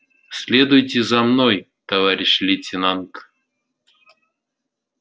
следуйте за мной товарищ лейтенант